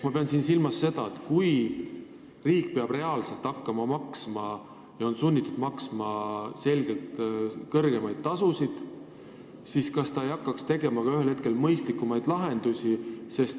Ma pean silmas seda, et kui riik peab reaalselt hakkama maksma ja on sunnitud maksma selgelt kõrgemaid tasusid, siis ta hakkaks ühel hetkel otsima ka mõistlikumaid lahendusi.